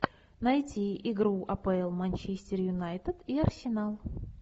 найти игру апл манчестер юнайтед и арсенал